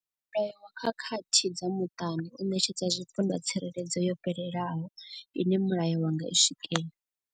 Mulayo wa khakhathi dza muṱani u ṋetshedza zwipondwa tsireledzo yo fhelelaho ine mulayo wa nga i swikela.